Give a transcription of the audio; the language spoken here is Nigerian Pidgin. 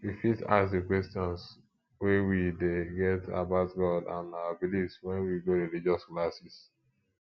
we fit ask di questions wey we dey get about god and our beliefs when we go religious class